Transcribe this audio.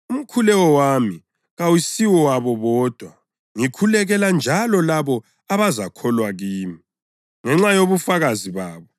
“Umkhuleko wami kawusiwabo bodwa. Ngikhulekela njalo labo abazakholwa kimi ngenxa yobufakazi babo,